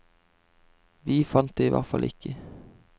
Vi fant det i hvert fall ikke.